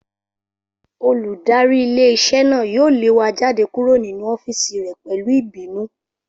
Olùdarí ilé-iṣẹ́ náà yóò lé wa jáde kúrò ninú ọ́fìsì rẹ̀ pẹ̀lú ìbínú